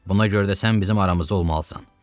Buna görə də sən bizim aramızda olmalısan.